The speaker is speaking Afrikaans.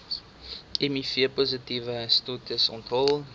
mivpositiewe status onthul